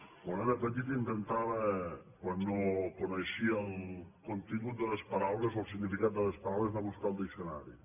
quan era petit intentava quan no coneixia el contingut de les paraules o el significat de les paraules anar a buscar el diccionari